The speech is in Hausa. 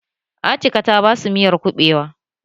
Atika ta basu miyar kuɓewa